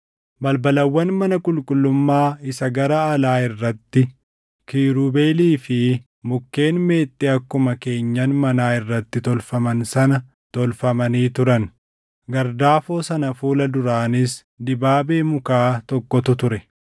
Balbalawwan mana qulqullummaa isa gara alaa irratti kiirubeelii fi mukkeen meexxii akkuma keenyan manaa irratti tolfaman sana tolfamanii turan; gardaafoo sana fuula duraanis dibaabee mukaa tokkotu ture.